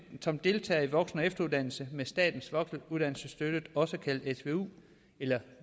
som deltager i voksenefteruddannelse med statens voksenuddannelsesstøtte også kaldet svu eller